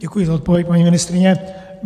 Děkuji za odpověď, paní ministryně.